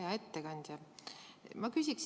Hea ettekandja!